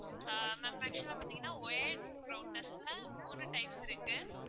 ஆஹ் ma'am actual ஆ பார்த்தீங்கன்னா wired routers ல மூணு types இருக்கு.